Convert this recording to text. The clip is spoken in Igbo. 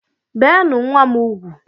Beenu nwa m ugwu!